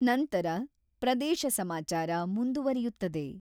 ನಂತರ ಪ್ರದೇಶ ಸಮಾಚಾರ ಮುಂದುವರಿಯುತ್ತದೆ.